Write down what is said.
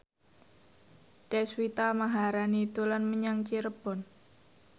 Deswita Maharani dolan menyang Cirebon